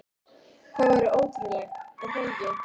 Það væri ótrúlegt, er það ekki?